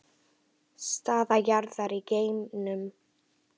Staða jarðar í geimnum